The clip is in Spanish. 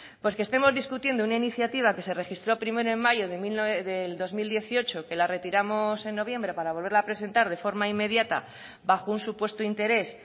pues que estemos discutiendo una iniciativa que se registró a primero de mayo del dos mil dieciocho que la retiramos en noviembre para volverla a presentar de forma inmediata bajo un supuesto interés